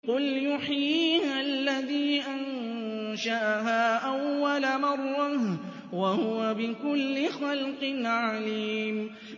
قُلْ يُحْيِيهَا الَّذِي أَنشَأَهَا أَوَّلَ مَرَّةٍ ۖ وَهُوَ بِكُلِّ خَلْقٍ عَلِيمٌ